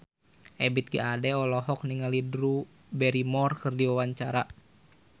Ebith G. Ade olohok ningali Drew Barrymore keur diwawancara